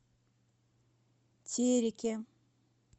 тереке